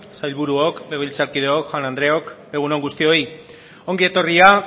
sailburuok legebiltzarkideok jaun andreok egun on guztioi ongietorria